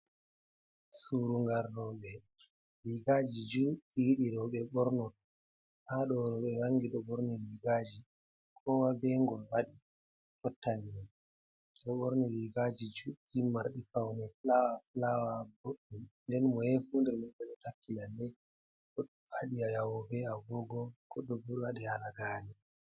Surungal rooɓe. Riigaaji juɗɗi ɗi rooɓe ɓornoto. Haa ɗo rooɓe wangi ɗo ɓorni riigaaji. Komoi be ngol waɗi, fottani mo. Be ɗo ɓorni riigaaji juɗɗi marɗi paune, fulawa-fulawa boɗɗum. Nden moye fuu nder maɓɓe ɗo takki lalle, waɗi jawe bee agogo, goɗɗo bo ɗo waɗi halagaare.